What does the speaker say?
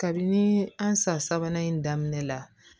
Kabini an san sabanan in daminɛ la